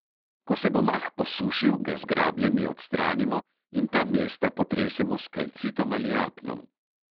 Ko se bo mah posušil, ga z grabljami odstranimo in ta mesta potresemo s kalcitom ali apnom.